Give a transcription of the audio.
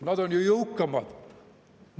"Nad on ju jõukamad!